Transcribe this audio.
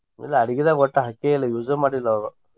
ಇಲ್ಲ ಅಡಗಿದಾಗ ಒಟ್ಟ ಹಾಕೆಯಿಲ್ಲ use ಮಾಡಿಲ್ಲ ಅವರು.